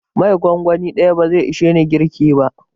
Mai gongoni ɗaya bazai ishe ni girki ba.